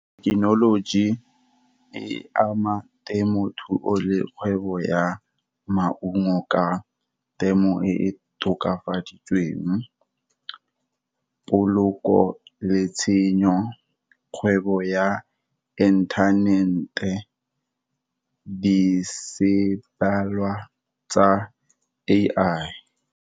Thekenoloji e ama temothuo le kgwebo ya maungo ka temo e e tokafaditsweng, poloko le tshenyo, kgwebo ya internet-e, be se balwa tsa A_I.